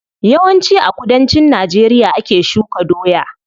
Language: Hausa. Yawan ci a kudancin najeriya ake shuka doya.